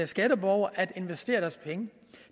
skatteborgere at investere deres penge